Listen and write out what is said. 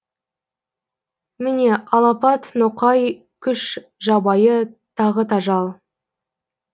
міне алапат ноқай күш жабайы тағы тажал